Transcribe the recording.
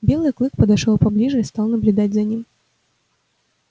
белый клык подошёл поближе и стал наблюдать за ним